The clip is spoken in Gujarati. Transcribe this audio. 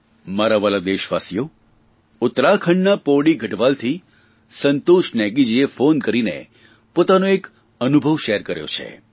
મારા વ્હાલા દેશવાસીઓ ઉત્તરાખંડના પૌડી ગઢવાલથી સંતોશ નેગીજીએ ફોન કરીને પોતાનો એક અનુભવ શેર કર્યો છે